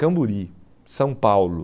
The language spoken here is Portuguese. Camburi, São Paulo.